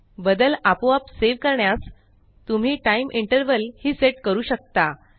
बदल आपोआप सेव करण्यास तुम्ही टाइम इंटर्वल हि सेट करू शकता